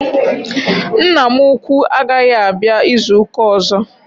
Nna m ukwuu agaghị abịa izu ụka ọzọ.